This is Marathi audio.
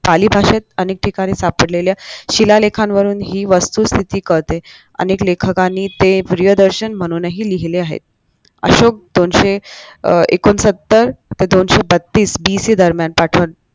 पाली भाषेत अनेक ठिकाणी सापडलेल्या शिलालेखांवरून ही वस्तुस्थिती कळते अनेक लेखकांनी ते प्रियदर्शन म्हणूनही लिहिले आहेत